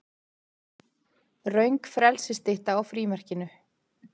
Röng frelsisstytta á frímerkinu